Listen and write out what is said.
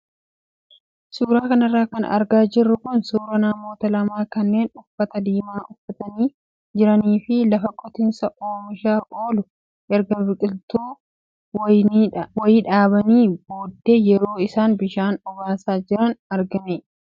Suuraa kanarra kan argaa jirru kun suuraa namoota lama kanneen uffata diimaa uffatanii jiranii fi lafa qotiisaa oomishaaf oolu erga biqiltuu wayii dhaabaniin booddee yeroo isaan bishaan obaasaa jiran argina.